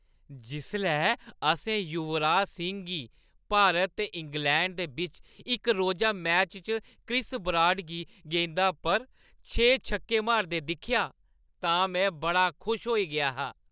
जिसलै असें युवराज सिंह गी भारत ते इंग्लैंड दे बिच्च इक-रोजा मैच च क्रिस ब्राड दी गेंदा पर छे छक्के मारदे दिक्खेआ तां में बड़ा खुश होई गेआ हा।